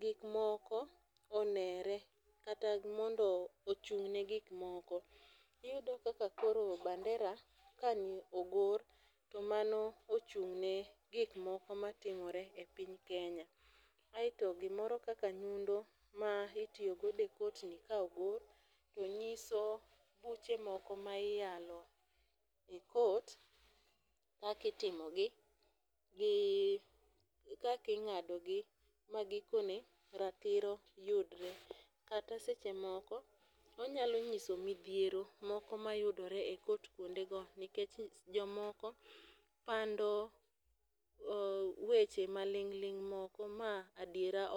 gik moko onere kata mondo ochung' ne gik moko. Iyudo kaka koro bandera ka ogor to mano ochung' ne gik moko matimore e piny Kenya. Aeto gimoro kaka nyundo ma itiyogodo e court ni ka ogor tonyiso buche moko ma iyalo e court kakitimo gi gi kaking'ado gi magikone ratiro yudore. Kata seche moko onyalo nyiso midhiero moko mayudore e court kuondego nikech jomoko pando weche maling' ling' moko ma adiera